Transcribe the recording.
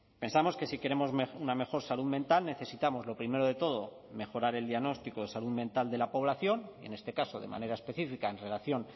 pensamos que si queremos una mejor salud mental necesitamos lo primero de todo mejorar el diagnóstico de salud mental de la población en este caso de manera específica en relación